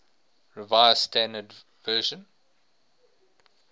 revised standard version